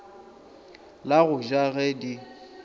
la go ja ge di